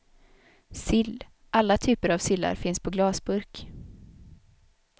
Sill, alla typer av sillar finns på glasburk.